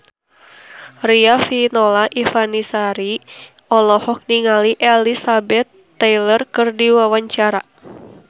Riafinola Ifani Sari olohok ningali Elizabeth Taylor keur diwawancara